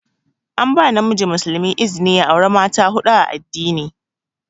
An ba namiji muslimi izni ya aura mata huɗu a addini.